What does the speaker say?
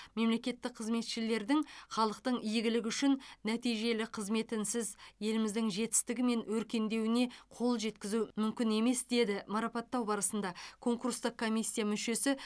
мемлекеттік қызметшілердің халықтың игілігі үшін нәтижелі қызметінсіз еліміздің жетістігі мен өркендеуіне қол жеткізу мүмкін емес деді марапаттау барысында конкурстық комиссия мүшесі